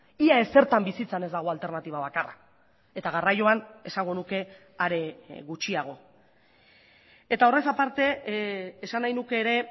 ia ezertan bizitzan ez dago alternatiba bakarra eta garraioan esango nuke are gutxiago eta horrez aparte esan nahi nuke ere